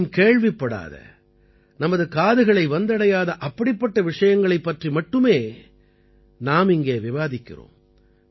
அதிகம் கேள்விப்படாத நமது காதுகளை வந்தடையாத அப்படிப்பட்ட விஷயங்களைப் பற்றி மட்டுமே நாம் இங்கே விவாதிக்கிறோம்